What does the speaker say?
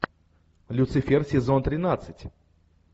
люцифер сезон тринадцать